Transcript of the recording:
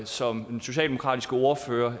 som den socialdemokratiske ordfører